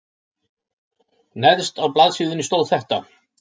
Neðst á blaðsíðunni stóð þetta